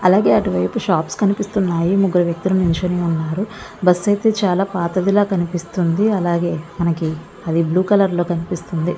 జాక్స్తుంది పురాతన బస్సులో కనిపిస్తున్న తన బస్సులలో ఒక పురాతన బస్సులో కనిపిస్తుంది అందులో ఒకనాడు ఒక వ్యక్తి నడుస్తున్నాడు. మరో అలాగే అటువైపు షాప్ కనిపిస్తున్నాయి ముగ్గురు వ్యక్తుల నుంచి బస్ ఐతే చాలా పాతదిలా కనిపిస్తుంది. అలాగే అది బ్లూ కలర్‌ లో కనిపిస్తుంది.